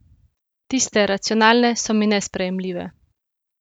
Tiste, racionalne, so mi nesprejemljive.